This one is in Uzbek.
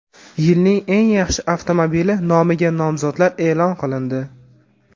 Yilning eng yaxshi avtomobili nomiga nomzodlar e’lon qilindi.